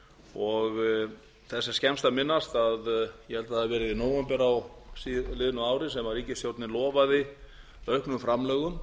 og þess er skemmst að minnast að ég held að það hafi verið í nóvember á liðnu ári sem ríkisstjórnin lofaði auknum framlögum